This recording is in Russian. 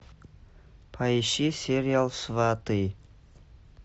поищи сериал сваты